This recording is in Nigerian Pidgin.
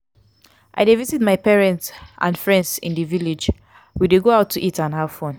i dey visit my parents and friends in di village we dey go out to eat and have fun.